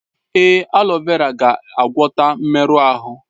Èé, aleo vera ga-agwọta mmerụ ahụ.